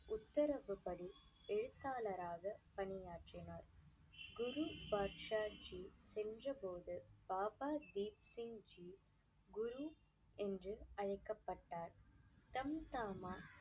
உத்தரவுப்படி எழுத்தாளராக பணியாற்றினார். குரு பாட்ஷாஜி சென்ற போது பாபா தீப் சிங் ஜி குரு என்று அழைக்கப்பட்டார் தம்தாமா